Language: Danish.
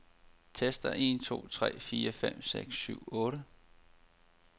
Tester en to tre fire fem seks syv otte.